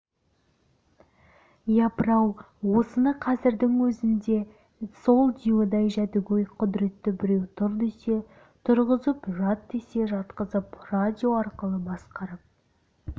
апыр-ау осыны қазірдің өзінде сол диюдай жәдігөй құдіретті біреу тұр десе тұрғызып жат десе жатқызып радио арқылы басқарып